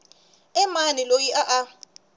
i mani loyi a a